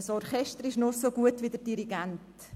Ein Orchester ist nur so gut wie sein Dirigent.